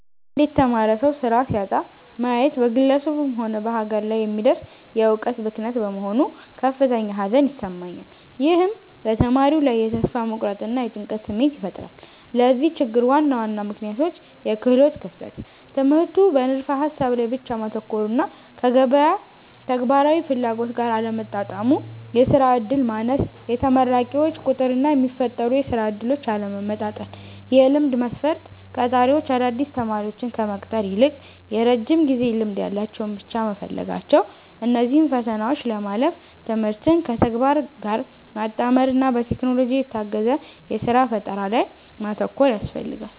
አንድ የተማረ ሰው ሥራ ሲያጣ ማየት በግለሰቡም ሆነ በሀገር ላይ የሚደርስ የዕውቀት ብክነት በመሆኑ ከፍተኛ ሐዘን ይሰማኛል። ይህም በተማሪው ላይ የተስፋ መቁረጥና የጭንቀት ስሜት ይፈጥራል። ለዚህ ችግር ዋና ዋና ምክንያቶች፦ -የክህሎት ክፍተት፦ ትምህርቱ በንድፈ-ሐሳብ ላይ ብቻ ማተኮሩና ከገበያው ተግባራዊ ፍላጎት ጋር አለመጣጣሙ። -የሥራ ዕድል ማነስ፦ የተመራቂዎች ቁጥርና የሚፈጠሩ የሥራ ዕድሎች አለመመጣጠን። -የልምድ መስፈርት፦ ቀጣሪዎች አዳዲስ ተማሪዎችን ከመቅጠር ይልቅ የረጅም ጊዜ ልምድ ያላቸውን ብቻ መፈለጋቸው። እነዚህን ፈተናዎች ለማለፍ ትምህርትን ከተግባር ጋር ማጣመርና በቴክኖሎጂ የታገዘ የሥራ ፈጠራ ላይ ማተኮር ያስፈልጋል።